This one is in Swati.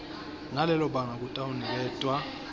nalelo banga kutawuniketwa